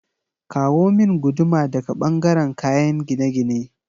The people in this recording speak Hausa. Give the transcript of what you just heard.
Kawo min guduma daga ɓangaren kayen gine-gine